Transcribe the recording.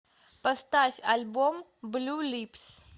поставь альбом блю липс